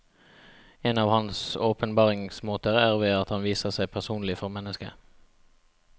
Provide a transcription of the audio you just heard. En av hans åpenbaringsmåter er ved at han viser seg personlig for mennesket.